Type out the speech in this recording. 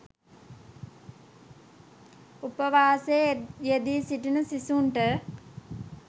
උපවාසයේ යෙදී සිටින සිසුන්ට